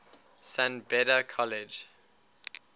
san beda college